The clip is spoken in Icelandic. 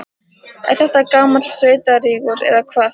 Er þetta gamall sveitarígur, eða hvað?